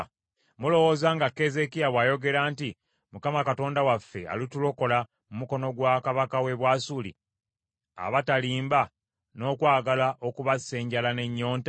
Mulowooza nga Keezeekiya bw’ayogera nti, “ Mukama Katonda waffe alitulokola mu mukono gwa kabaka w’e Bwasuli,” abatalimba, n’okwagala okubassa enjala n’ennyonta?